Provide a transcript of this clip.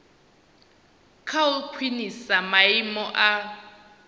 kha u khwinisa maimo a